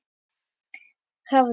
Það hafði